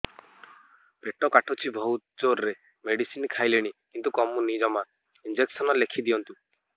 ପେଟ କାଟୁଛି ବହୁତ ଜୋରରେ ମେଡିସିନ ଖାଇଲିଣି କିନ୍ତୁ କମୁନି ଜମା ଇଂଜେକସନ ଲେଖିଦିଅନ୍ତୁ